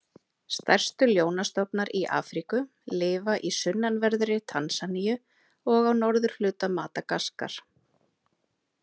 Stærstu ljónastofnar í Afríku lifa í sunnanverðri Tansaníu og á norðurhluta Madagaskar.